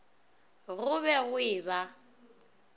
go be go e ba